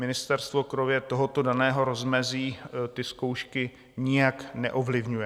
Ministerstvo kromě tohoto daného rozmezí ty zkoušky nijak neovlivňuje.